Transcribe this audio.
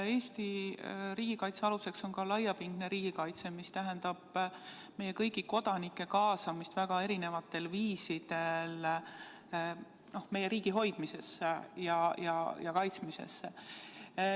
Eesti riigikaitse aluseks on ka laiapindne riigikaitse, mis tähendab meie kõigi kodanike kaasamist väga erinevatel viisidel meie riigi hoidmisesse ja kaitsmisesse.